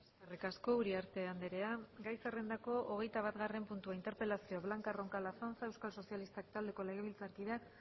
eskerrik asko uriarte andrea gai zerrendako hogeitabatgarren puntua interpelazioa blanca roncal azanza euskal sozialistak taldeko legebiltzarkideak